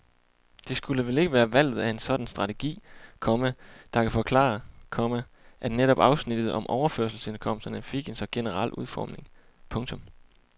Det skulle vel ikke være valget af en sådan strategi, komma der kan forklare, komma at netop afsnittet om overførselsindkomsterne fik en så generel udformning. punktum